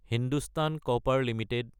Hindustan copper Ltd